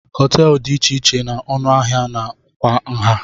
Hoteelu dị iche iche na ọnụ ahịa na kwa nha.